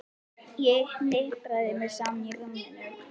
Ég hnipra mig saman í rúminu.